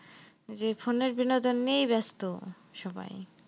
যে phone এর বিনোদন নিয়েই ব্যস্ত সবাই।